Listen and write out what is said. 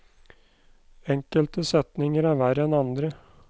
Enkelte setninger er verre enn andre.